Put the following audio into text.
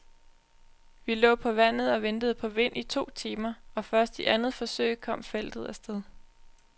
Vi lå på vandet og ventede på vind i to timer, og først i andet forsøg kom feltet af sted.